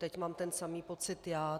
Teď mám ten samý pocit já.